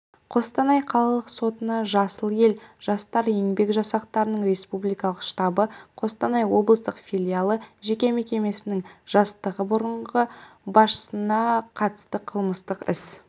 қостанай қалалық сотына жасыл ел жастар еңбек жасақтарының республикалық штабы қостанай облыстық филиалы жеке мекемесінің жастағы бұрынғы басшысына қатысты қылмыстық іс